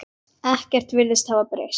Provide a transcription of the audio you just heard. Ekkert virðist hafa breyst.